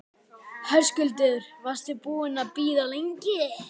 Höskuldur: Varstu búinn að bíða lengi?